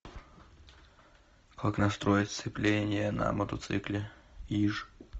как настроить сцепление на мотоцикле иж